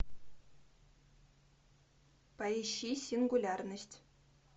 поищи сингулярность